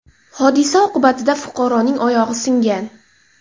Hodisa oqibatida fuqaroning oyog‘i singan.